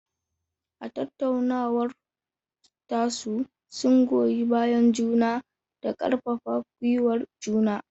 A tattaunawar tasu, sun goyi bayan juna da karfafa gwiwar juna.